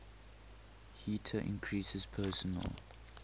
heater increases personal